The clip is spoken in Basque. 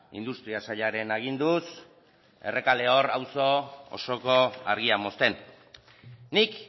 industria sailaren aginduz errekaleor auzoko argia mozten nik